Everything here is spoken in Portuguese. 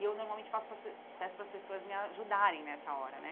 E eu normalmente faço para as pe peço para as pessoas me ajudarem nessa hora, né?